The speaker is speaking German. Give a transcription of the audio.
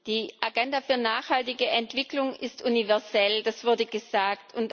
Die Agenda für nachhaltige Entwicklung ist universell das wurde gesagt.